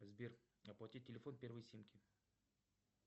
сбер оплатить телефон первой симки